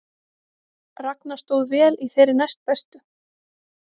Ragna stóð vel í þeirri næstbestu